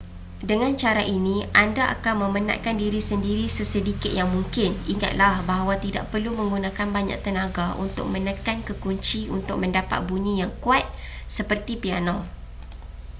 dengan cara ini anda akan memenatkan diri sendiri sesedikit yang mungkin ingatlah bahawa tidak perlu menggunakan banyak tenaga untuk menekan kekunci untuk mendapat bunyi yang kuat seperti piano